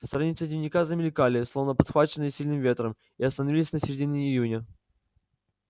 страницы дневника замелькали словно подхваченные сильным ветром и остановились на середине июня